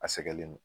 A sɛgɛnlen don